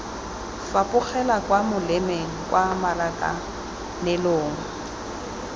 fapogela kwa molemeng kwa marakanelong